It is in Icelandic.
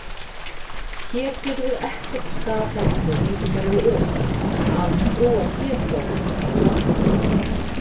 Hér getum við ekkert staðhæft með vísindalegu öryggi, aðeins trúað getgátum eða hafnað þeim.